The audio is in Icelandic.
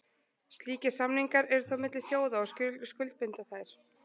Slíkir samningar eru þó milli þjóða og skuldbinda þær.